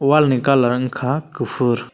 wal ni colour wngkha kufur.